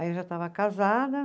Aí eu já estava casada.